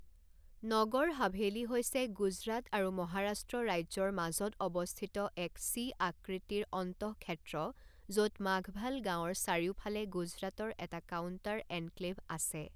নগৰ হাভেলি হৈছে গুজৰাট আৰু মহাৰাষ্ট্ৰ ৰাজ্যৰ মাজত অৱস্থিত এক চি আকৃতিৰ অন্তঃক্ষেত্ৰ য'ত মাঘভাল গাঁৱৰ চাৰিওফালে গুজৰাটৰ এটা কাউণ্টাৰ এনক্লেভ আছে।